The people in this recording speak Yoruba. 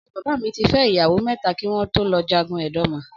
Ọ̀rẹ́ bàbá mi ti fẹ́ ìyàwó mẹ́ta kí wọn tó lọ jagun Edoma.